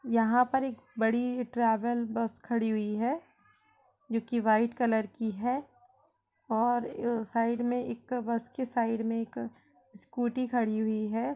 यहाँ पर एक बड़ी ट्रेवल बस खड़ी हुई है जो कि वाईट कलर की है और साईड में एक बस के साईड में एक स्कूटी खड़ी हुई है।